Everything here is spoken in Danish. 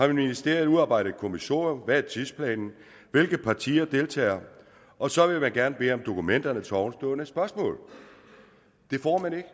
i ministeriet udarbejdet et kommissorium hvad er tidsplanen hvilke partier deltager og så vil man gerne bede om dokumenterne til ovenstående spørgsmål det får man ikke